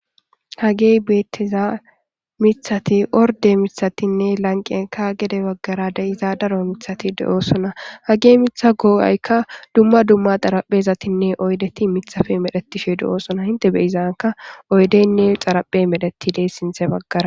Hagey beetteza mithati orde mithatinne lanqenka gede baggara de iza daro mithati de7oosona hagey mitha goo7aykka dumma dumma xaraphezatinne oydeti mithafe medhetishe de7oosona hinte beyizanka oydeynne xaraphe medhetidey sinthe baggara